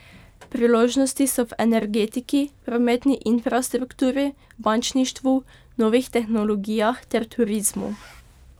Priložnosti so v energetiki, prometni infrastrukturi, bančništvu, novih tehnologijah ter turizmu.